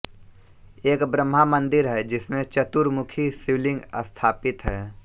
एक ब्रह्मा मन्दिर है जिसमें चतुरमुखी शिवलिंग स्थापित है